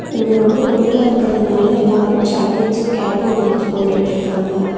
இங்க ரொம்ப குளூரா இருக்கிறதுனால எல்லாரு ஜாக்கெட்ஸ்சு கேப்பு வெச்சி போட்டுட்ருக்காங்க.